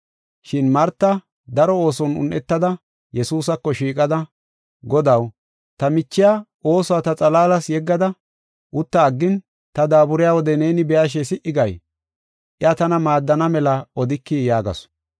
Shin Marta daro ooson un7etada Yesuusako shiiqada, “Godaw, ta michiya oosuwa ta xalaalas yeggada utta aggin ta daaburiya wode neeni be7ashe si77i gay? Iya tana maaddana mela odikii” yaagasu.